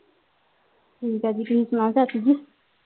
ਠੀਕ ਆ ਤੁਸੀ ਸਣੋਓ ਚਾਚੀ ਜੀ